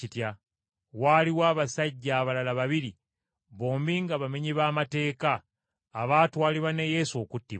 Waaliwo n’abasajja abalala babiri, bombi nga bamenyi ba mateeka, abaatwalibwa ne Yesu okuttibwa.